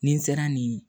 Ni n sera nin